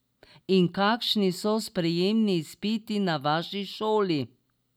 In kakšni so sprejemni izpiti na vaši šoli?